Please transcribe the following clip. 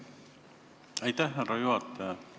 Aitäh, härra juhataja!